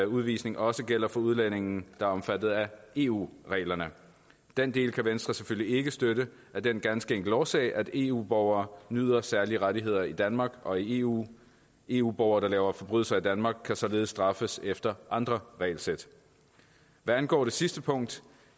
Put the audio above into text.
udvisning også gælder for udlændinge der er omfattet af eu reglerne den del kan venstre selvfølgelig ikke støtte af den ganske enkle årsag at eu borgere nyder særlige rettigheder i danmark og i eu eu borgere der laver forbrydelser i danmark kan således straffes efter andre regelsæt hvad angår det sidste punkt